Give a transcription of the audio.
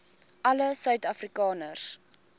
alle suid afrikaners